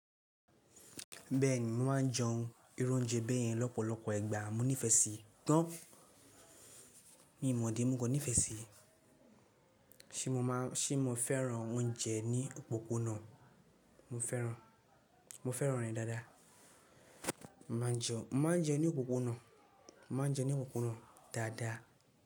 Bẹ́ẹ̀ni, mo máa ń jẹun irú oúnjẹ bẹ́ẹ̀ yẹn lọ́pọ̀lọpọ̀ ìgbà. Mo nífẹ̀ẹ́ sí tàn, mí mọ́di mo kọ̀ nífẹ̀ẹ́ sí. Ṣé mo máa ń, ṣe mo fẹ́ràn oúnjẹ ní òpópónà? Mo fẹ́ràn, mo fẹ́ràn rẹ̀ dáadáa. Mo máa ń jẹun, mo máa ń jẹun ní òpópónà, mo máa ń jẹun ní òpópónà dáadáa.